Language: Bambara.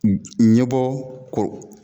Ɲɛ bɔ koro